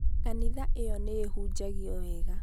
kanitha ĩyo nĩ ĩhunjagio wega